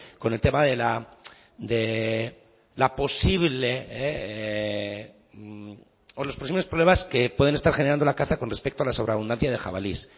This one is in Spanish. con el tema de la posible o los posibles problemas que pueden estar generando la caza con respecto a la sobreabundancia de jabalíes